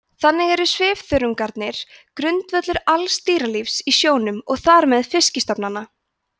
þannig eru svifþörungarnir grundvöllur alls dýralífs í sjónum og þar með fiskistofnanna